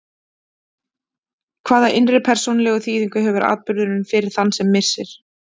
Hvaða innri persónulegu þýðingu hefur atburðurinn fyrir þann sem missir?